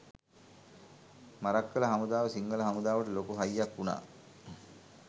මරක්කල හමුදාව සිංහල හමුදාවට ලොකු හයියක් උනා